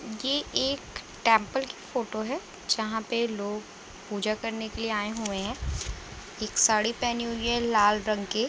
ये एक टेंपल की फोटो है जहां पे लोग पूजा करने के लिए आयें हुए हैं। एक साड़ी पहनी हुई है लाल रंग के --